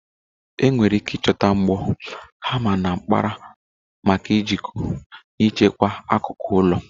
Enwere ike ịchọta mbọ, hama, na mkpara maka ijikọ na ichekwa akụkụ ụlọ.